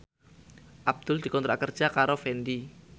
Abdul dikontrak kerja karo Fendi